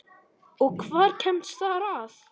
Og hver kemst þar að?